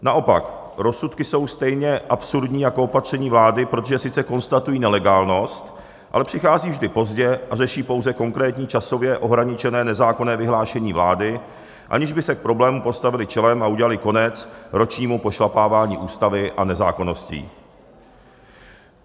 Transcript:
Naopak, rozsudky jsou stejně absurdní jako opatření vlády, protože sice konstatují nelegálnost, ale přichází vždy pozdě a řeší pouze konkrétní časově ohraničené nezákonné vyhlášení vlády, aniž by se k problému postavily čelem a udělaly konec ročnímu pošlapávání ústavy a nezákonností.